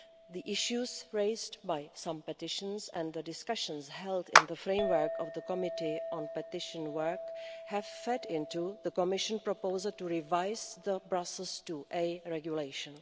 The issues raised by some petitions and the discussions held in the framework of the Committee on Petitions work have fed into the Commission proposal to revise the process to a regulation.